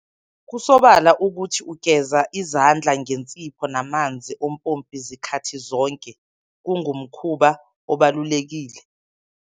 Kusobala ukuthi ugeza izandla ngensipho namanzi ompompi zikhathi zonke kungumkhuba obalulekile.